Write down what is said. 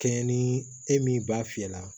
Kɛɲɛ ni e min b'a fiyɛ la